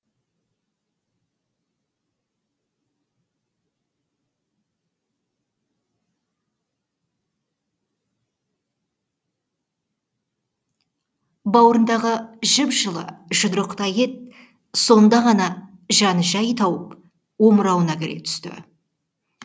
бауырындағы жып жылы жұдырықтай ет сонда ғана жаны жай тауып омырауына кіре түсті